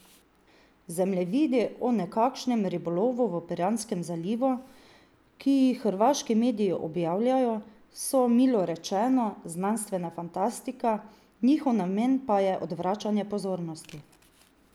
Zemljevidi o nekakšnem ribolovu v Piranskem zalivu, ki jih hrvaški mediji objavljajo, so, milo rečeno, znanstvena fantastika, njihov namen pa je odvračanje pozornosti.